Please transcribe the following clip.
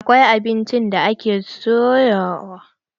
Akwai abinci da ake soyawa.